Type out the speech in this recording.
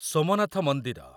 ସୋମନାଥ ମନ୍ଦିର